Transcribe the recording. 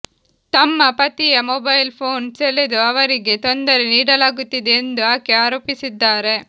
ತಮ್ಮ ಪತಿಯ mobile phone ಸೆಳೆದು ಅವರಿಗೆ ತೊಂದರೆ ನೀಡಲಾಗುತ್ತಿದೆ ಎಂದೂ ಆಕೆ ಆರೋಪಿಸಿದ್ದಾರೆ